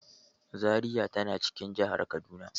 Zariya ta na cikin jahar Kaduna.